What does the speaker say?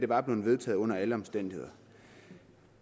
var blevet vedtaget under alle omstændigheder